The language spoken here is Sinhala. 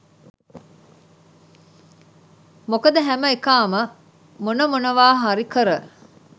මොකද හැම එකාම මොන මොනවා හරි කර